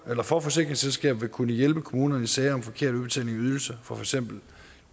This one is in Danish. for forsikringsselskabet vil kunne hjælpe kommunerne i sager om forkert udbetaling af ydelser for eksempel